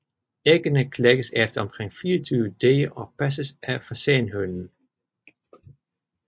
Æggene klækkes efter omkring 24 dage og passes af fasanhønen